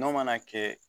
N'o mana kɛ